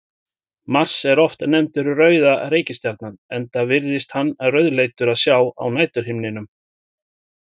Mars er oft nefndur rauða reikistjarnan enda virðist hann rauðleitur að sjá á næturhimninum.